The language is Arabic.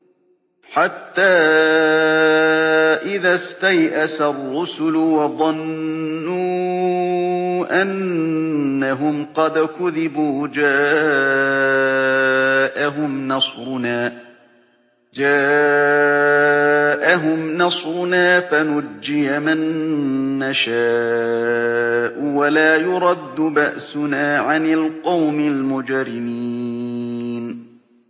حَتَّىٰ إِذَا اسْتَيْأَسَ الرُّسُلُ وَظَنُّوا أَنَّهُمْ قَدْ كُذِبُوا جَاءَهُمْ نَصْرُنَا فَنُجِّيَ مَن نَّشَاءُ ۖ وَلَا يُرَدُّ بَأْسُنَا عَنِ الْقَوْمِ الْمُجْرِمِينَ